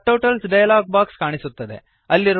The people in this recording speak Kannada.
ಸಬ್ಟೋಟಲ್ಸ್ ಡಯಲಾಗ್ ಬಾಕ್ಸ್ ಕಾಣಿಸುತ್ತದೆ